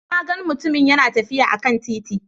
Na gan mutumun yana tafiya a kan titi